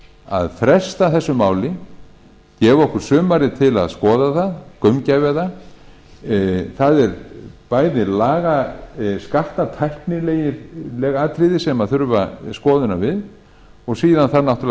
að fresta þessu máli gefa okkur sumarið til að skoða það gaumgæfa það það eru bæði skattatæknileg atriði sem þurfa skoðunar við og síðan þarf náttúrlega að